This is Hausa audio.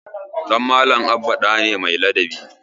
Ɗan Malam Abba ɗa ne mai ladabi.